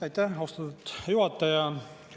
Aitäh, austatud juhataja!